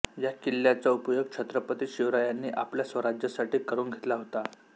या किल्ल्याचा उपयोग छ्त्रपती शिवरायांनी आपल्या स्वराज्यासाठी करून घेतला होता